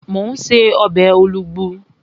Mò ún ṣe ọbẹ̀ olugbu